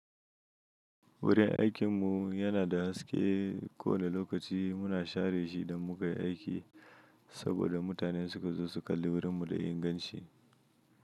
Wurin aikinmu yana da haske. Kowane lokaci muna share shi don mu kai aiki saboda mutane suka zo su kalli wurinmu da inganci.